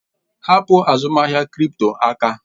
Hapụ azụmahịa kripto aka!